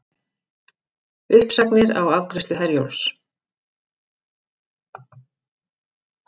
Uppsagnir á afgreiðslu Herjólfs